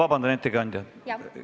Ma palun vabandust, ettekandja!